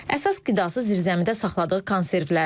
Əsas qidası zirzəmidə saxladığı konservlərdir.